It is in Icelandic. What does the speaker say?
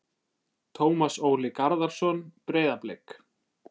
Tómas Óli Garðarsson- Breiðablik